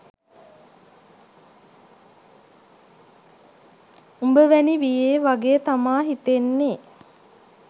උබවැනි වියේ වගේ තමා හිතෙන්නේ